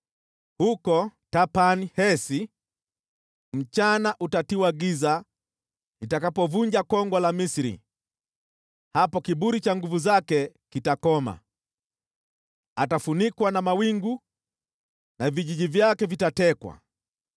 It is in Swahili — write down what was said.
Huko Tahpanhesi mchana utatiwa giza nitakapovunja kongwa la Misri; hapo kiburi cha nguvu zake kitakoma. Atafunikwa na mawingu na vijiji vyake vitatekwa.